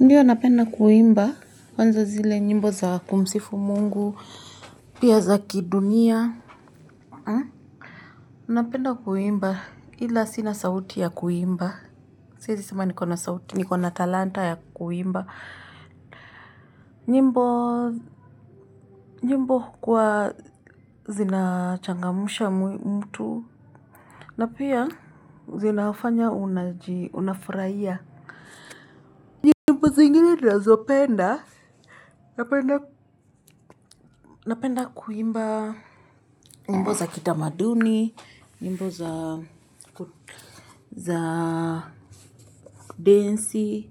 Ndiyo napenda kuimba kwanza zile nyimbo za kumsifu mungu, pia za kidunia. Napenda kuimba ila sina sauti ya kuimba. Siezi sema nikona sauti, nikona talanta ya kuimba. Nyimbo nyimbo hukuwa zinachangamsha mtu. Na pia zina hafanya unafuraia. Nyimbo zingine nazo penda, napenda kuimba. Nyimbo za kitamaduni nyimbo za za kudensi